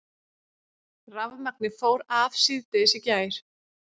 Rafmagnið fór af síðdegis í gær